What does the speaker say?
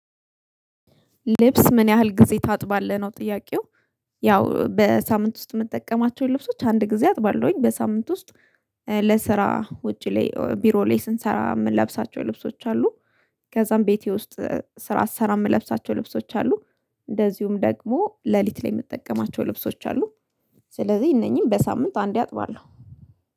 ልብስ ምን ያህል ጊዜ ታጥባለህ ነው ጥያቄው? ያው በሳምንት ውስጥ እምጠቀማቸውን ልብሶች አንድ ጊዜ አጥባለሁኝ በሳምንት ውስጥ። ኧ ለስራ ውጪ ላይ ቢሮ ላይ ስንሰራ እምንለብሳቸው ልብሶች አሉ። ከዛም ቤቴ ውስጥ ስራ ስሰራ እምለብሳቸው ልብሶች አሉ። እንደዚሁም ደግሞ ለሊት ላይ እምትጠቀማቸው ልብሶች አሉ። ስለዚህ እነኚህን በሳምንት አንዴ አጥባለሁ